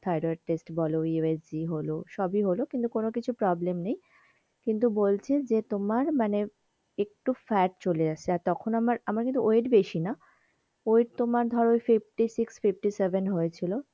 Thyroid test বলো USG হলো সবই হলো কিন্তু কোনো কিছু problem কিন্তু বলছে যে তোমার মানে একটু fat চলে এসেছে আর তখন আমার, আমার কিন্তু weightfifty six fifty seven হয়েছিল।